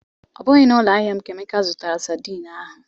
Ọ bụghị na ụloahịa m ka Emeka zụtara sadin ahụ